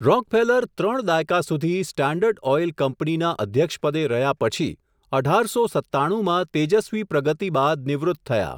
Rockefeller ત્રણ દાયકા સુધી, સ્ટાન્ડર્ડ ઓઈલ કંપનીના અધ્યક્ષપદે રહ્યા પછી, અઢારસો સત્તાણું માં તેજસ્વી પ્રગતિ બાદ નિવૃત્ત થયા.